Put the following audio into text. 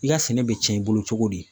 I ka sɛnɛ bɛ tiɲɛ i bolo cogo di